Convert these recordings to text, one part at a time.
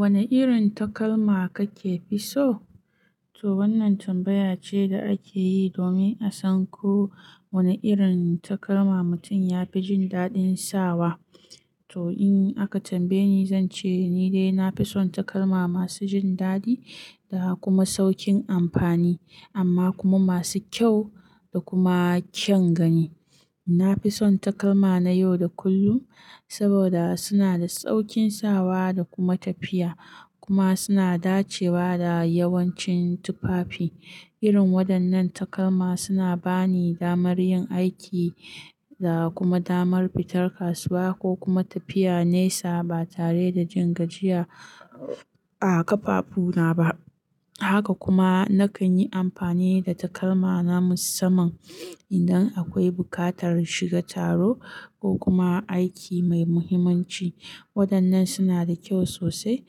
Wane irin takalma kake fi so? To wannan tambaya ce da ake yi domin a san ko wane irin takalma mutum ya fi jin daɗin sawa. To in aka tambaye ni, zan ce ni dai na fi son takalma masu jin daɗi da kuma sauƙin amfani, amma kuma masu kyau da kuma kyan gani. Na fi son takalma na yau da kullum saboda suna da sauƙin sawa da kuma tafiya, kuma suna dacewa da yawancin tufafi. Irin waɗannan takalma suna ba ni damar yin aiki da kuma damar fitar kasuwa ko kuma tafiya nesa ba tare da jin gajiya a ƙafafu na ba. Haka kuma na kan yi amfani da takalma na musamman idan akwai buƙatar shiga taro ko kuma aiki mai muhimmanci. Waɗannan suna da kyau sosai,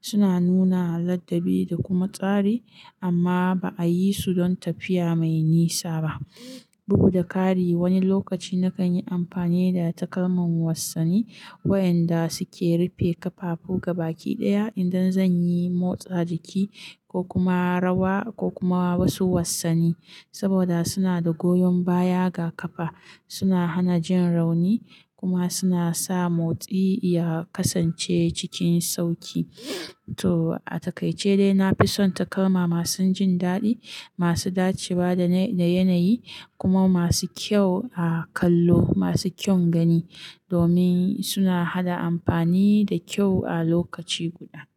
suna nuna ladabi da kuma tsari, amma ba a yi su don tafiya mai nisa ba. Bugu da ƙari, wani lokaci na kan yi amfani da takalman wassani waɗanda suke rufe ƙafafu gaba ɗaya idan zan yi motsa jiki ko kuma rawa ko kuma wasu wassani saboda suna da goyon baya ga ƙafa, suna hana jin rauni kuma suna sa motsi ya kasance cikin sauƙi. To a takaice dai, na fi son takalma masu jin daɗi, masu dacewa da yanayi, kuma masu kyau a kallo masu kyau gani domin suna haɗa amfani da kyau a lokaci guda.